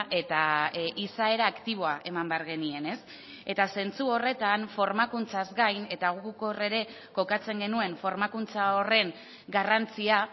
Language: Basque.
eta izaera aktiboa eman behar genien ez eta zentzu horretan formakuntzaz gain eta guk hor ere kokatzen genuen formakuntza horren garrantzia